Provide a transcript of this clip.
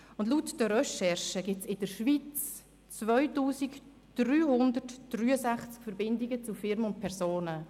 Laut den Recherchen gibt es in der Schweiz 2363 Verbindungen zu Firmen und Personen.